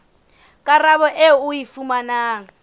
karabo eo o e fumanang